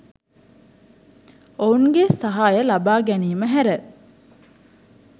ඔවුන්ගේ සහාය ලබාගැනීම හැර